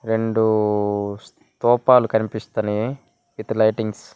రెండు స్థూపాలు కనిపిస్తూనే విత్ లైటింగ్స్--